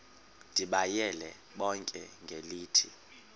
ndibayale bonke ngelithi